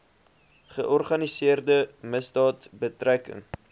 georganiseerde misdaad betrekking